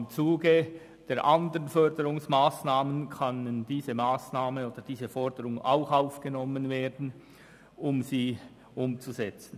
Im Zuge der anderen Förderungsmassnahmen kann diese Massnahme jedoch auch aufgenommen werden, um sie umzusetzen.